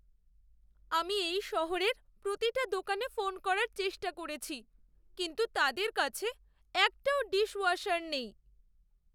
আমি এই শহরের প্রতিটা দোকানে ফোন করার চেষ্টা করেছি, কিন্তু তাদের কাছে একটাও ডিশওয়াশার নেই।